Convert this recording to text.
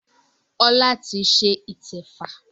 Ọlá ti ṣe ìtẹ́fá